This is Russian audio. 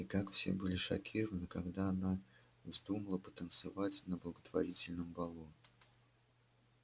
и как все были шокированы когда она вздумала потанцевать на благотворительном балу